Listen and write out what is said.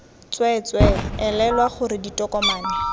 tswee tswee elelwa gore ditokomane